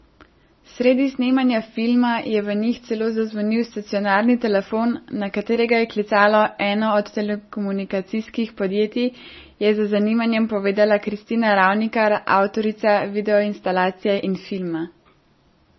Sredi snemanja filma je v njih celo zazvonil stacionarni telefon, na katerega je klicalo eno od telekomunikacijskih podjetij, je z zanimanjem povedala Kristina Ravnikar, avtorica videoinstalacije in filma.